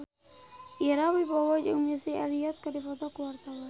Ira Wibowo jeung Missy Elliott keur dipoto ku wartawan